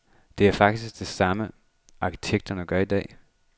Det er faktisk det samme, arkitekterne gør i dag.